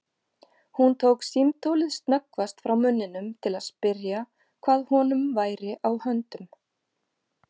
Hún tók símtólið snöggvast frá munninum til að spyrja hvað honum væri á höndum.